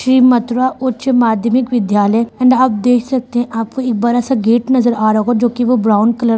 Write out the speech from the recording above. श्री मथुरा उच्च माध्यमिक विद्यालय एंड आप देख सकते हैं आपको एक बड़ा-सा गेट नजर आ रहा होगा जो की वो ब्राउन कलर का---